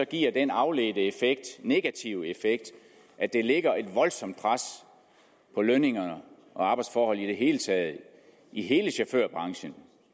giver den afledte negative effekt at det lægger et voldsomt pres på lønninger og arbejdsforhold i det hele taget i hele chaufførbranchen